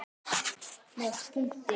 Með punkti.